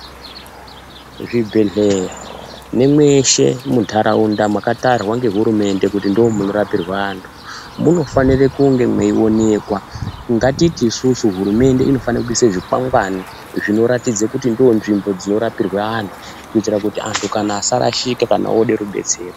Zvibhehleya nemweshe muntaraunda makatarwa ngehurumende kuti ndoomunorapirwe antu munofanire kunge meionekwa. Ngatiti isusu hurumende inofane kuise zvikwangwani zvinoratidze kuti ndoonzvimbo dzinorapirwe antu kuitira kuti anhu asarashikwa kana oode rubetsero.